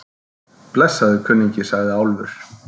Blessaður, kunningi, sagði Álfur.